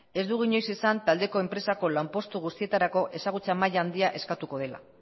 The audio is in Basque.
ez dugu inoiz esan taldeko enpresako lanpostu guztietarako ezagutza maila handia eskatuko dela